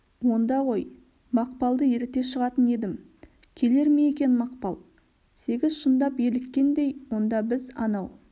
онда ғой мақпалды еріте шығатын едім келер ме екен мақпал сегіз шындап еліккендей онда біз анау